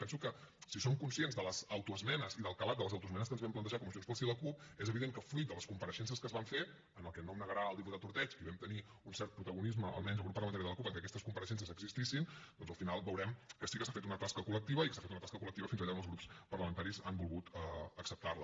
penso que si som conscients de les autoesmenes i del calat de les autoesmenes que ens vam plantejar com a junts pel sí i la cup és evident que fruït de les compareixences que es van fer en el que no em negarà el diputat ordeig que hi vam tenir un cert protagonisme almenys el grup parlamentari de la cup en què aquestes compareixences existissin doncs al final veurem que sí que s’ha fet una tasca col·lectiva i que s’ha fet una tasca col·lectiva fins allà on els grups parlamentaris han volgut acceptar la